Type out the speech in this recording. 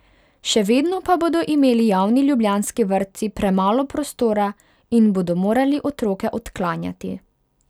Še vedno pa bodo imeli javni ljubljanski vrtci premalo prostora in bodo morali otroke odklanjati.